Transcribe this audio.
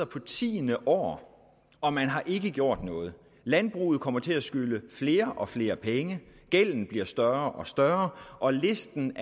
på tiende år og man har ikke gjort noget landbruget kommer til at skylde flere og flere penge gælden bliver større og større og listen